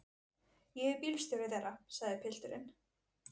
Ég er bílstjóri þeirra, sagði pilturinn.